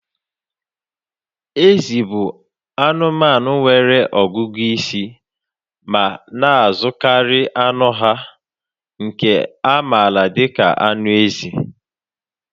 Ezi bụ anụmanụ nwere ọgụgụ isi ma na-azụkarị anụ ha, nke a maara dị ka anụ ezi.